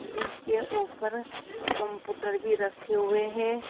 जिसके ऊपर कंप्यूटर भी रखे हुए हैं।